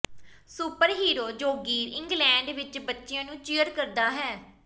superhero ਜੋਗੀਰ England ਵਿੱਚ ਬੱਚਿਆਂ ਨੂੰ ਚੀਅਰ ਕਰਦਾ ਹੈ